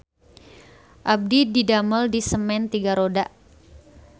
Abdi didamel di Semen Tiga Roda